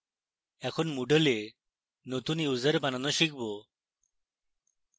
এখন moodle a নতুন user বানানো শিখব